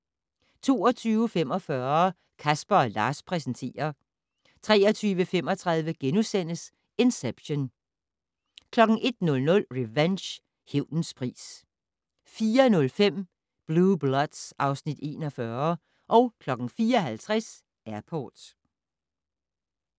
22:45: Casper & Lars præsenterer 23:35: Inception * 01:00: Revenge - hævnens pris 04:05: Blue Bloods (Afs. 41) 04:50: Airport